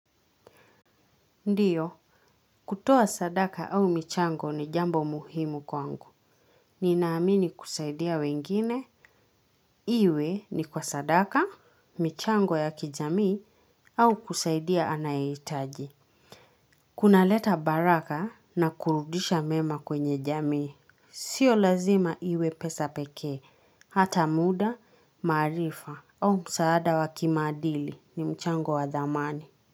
Ndiyo, kutoa sadaka au michango ni jambo muhimu kwangu. Ninaamini kusaidia wengine, iwe ni kwa sadaka, michango ya kijamii, au kusaidia anayehitaji. Kunaleta baraka na kurudisha mema kwenye jamii. Sio lazima iwe pesa pekee, hata muda, maarifa, au msaada wa kimaadili ni mchango wa dhamani.